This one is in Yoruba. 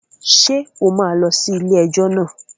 Ṣé o máa lọ sí ilé-ẹjọ́ náà?